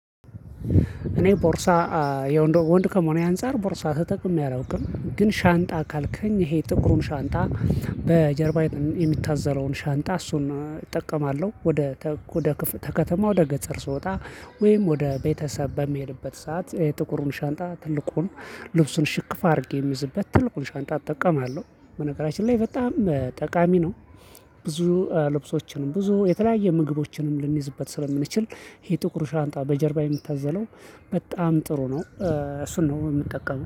እኔ ቦርሳ የወንድ ከመሆኔ አንፃር ቦርሳ ተጠቅሜ አላውቅም ግን ሻንጣ ካልከኝ ይሄ ጥቁሩን ሻንጣ በጀርባ የሚታዘረውን ሻንጣ እሱን እጠቀማለሁ ወደ ወደ ከተማ ወደ ገጸር ስወጣ ወይም ወደ ቤተሰብ በሚሄድበት ሰዓት የጥቁሩን ሻንጣ ትልቁን ልብሱን ሽክፍ አድርጌ የሚይዝበት ትልቁን ሻንጣ እጠቀማለሁ በነገራችን ላይ በጣም ጠቃሚ ነው። ብዙ ልብሶችንም፣ ብዙ የተለያየ ምግቦችንም ልንይዝበት ስለምንችል ይሄ ጥቁር ሻንጣ በጀርባ የምታዘለው በጣም ጥሩ ነው እሱን ነው የምንጠቀመው።